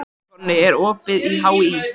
Konni, er opið í HÍ?